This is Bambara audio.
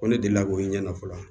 Ko ne delila k'o ɲɛ dɔn fɔlɔ